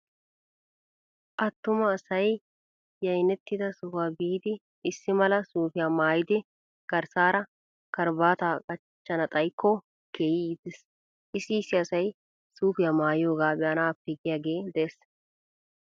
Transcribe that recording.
Attuma asay yaynettida sohuwaa biiddi issi mala suufiya maayidi garssaara karabaataa qachchana xayikko keehi iitees. Issi issi asay suufiyaa maayiyoogaa be'anaappe giyaagee de'ees.